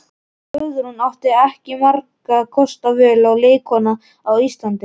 Guðrún átti ekki margra kosta völ sem leikkona á Íslandi.